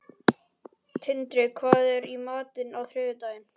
Tindri, hvað er í matinn á þriðjudaginn?